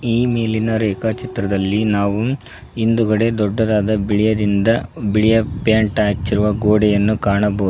ಈ ಮೇಲಿನ ರೇಖಾಚಿತ್ರದಲ್ಲಿ ನಾವು ಹಿಂದುಗಡೆ ದೊಡ್ಡದಾದ ಬಿಳಿಯದಿಂದ ಬಿಳಿಯ ಪೈಂಟ್ ಹಚ್ಚಿರುವ ಗೋಡೆಯನ್ನು ಕಾಣಬ--